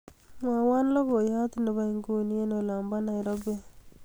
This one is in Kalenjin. mwowon logoyot nebo inguni en olombo nairobi